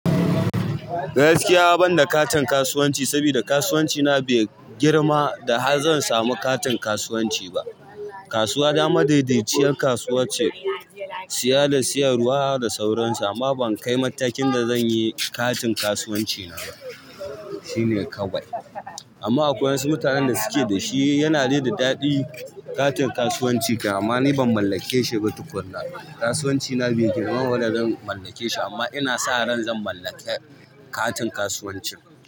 Gaskiya ban da katin kasuwanci saboda kasuwanci na bai girma da har zan samu katin kasuwanci ba. Kasuwa ta madaidaiciyar kasuwa ce, siya da siyarwa da sauransu amma ban kai matakin da zan yi katin kasuwanci na ba. Shi ne kawai. Amma akwai wasu mutanen da suke da shi yana de da daɗi katin kasuwanci kam amma ni ban mallake shi ba tukuna. Kasuwanci na bai girmama da zan mallake shi amma ina sa ran zan mallake katin kasuwanci.